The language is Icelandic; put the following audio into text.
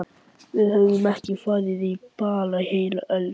Við höfum ekki farið á ball í heila öld!